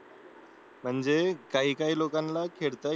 म्हणजे काय काय लोकांना खेळता येत नाही